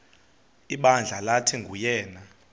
ibandla lathi nguyena